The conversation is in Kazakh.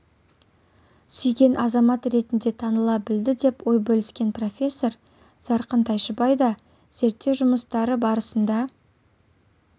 сүйген азамат ретінде таныла білді деп ой бөліскен профессор зарқын тайшыбай да зерттеу жұмыстары барысында